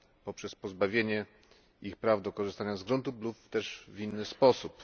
poprzez pozbawienie ich praw do korzystania z gruntów lub też w inny sposób.